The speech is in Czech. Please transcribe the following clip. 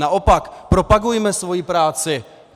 Naopak, propagujme svoji práci!